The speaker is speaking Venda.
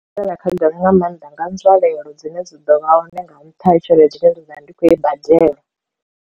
Nga maanḓa nga nzwalelo dzine dzi ḓo vha hone nga nṱha ha tshelede dzine nda ḓo vha ndi khou i badela.